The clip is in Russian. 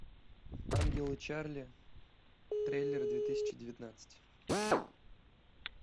ангелы чарли трейлер две тысячи девятнадцать